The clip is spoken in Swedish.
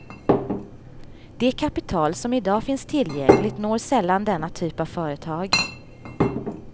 Det kapital som idag finns tillgängligt når sällan denna typ av företag.